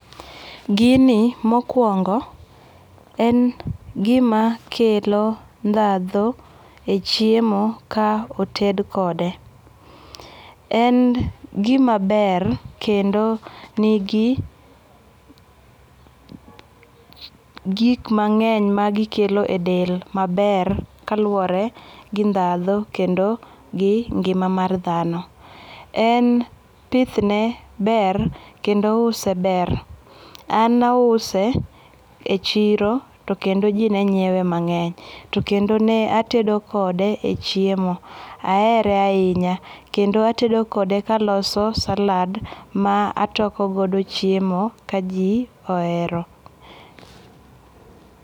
Gini mokuongo en gima kelo ndhadhu e chiemo ka oted kode. En gimaber kendo nigi gik mang'eny magikelo e del maber kaluwore gi ndadhu kendo gi ngima mar dhano. En pidhne ber kendo use ber. An nause e chiro to kendo ji ne nyiewe mang'eny. To kendo ne atedo kode e chiemo. Ahere ahinya kendo atedo kode kaloso salad ma toko godo chiemo ka ji ohero.